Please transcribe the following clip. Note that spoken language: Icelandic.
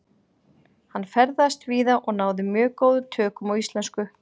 Hann ferðaðist víða og náði mjög góðum tökum á íslensku.